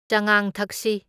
ꯆꯉꯥꯡ ꯊꯛꯁꯤ꯫